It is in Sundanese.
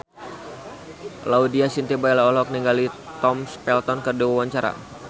Laudya Chintya Bella olohok ningali Tom Felton keur diwawancara